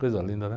Coisa linda, né?